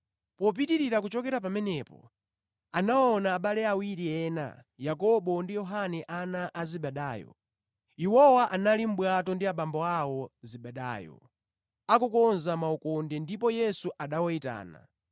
Atapita patsogolo, anaona abale ena awiri, Yakobo ndi mʼbale wake Yohane ana a Zebedayo. Iwowa anali mʼbwato ndi abambo awo, Zebedayo, akukonza makoka awo ndipo Yesu anawayitana.